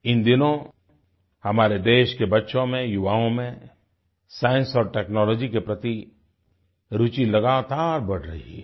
इन दिनों हमारे देश के बच्चों में युवाओं में साइंस और टेक्नोलॉजी के प्रति रूचि लगातार बढ़ रही है